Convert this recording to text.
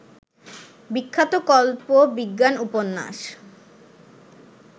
বিখ্যাত কল্প বিজ্ঞান উপন্যাস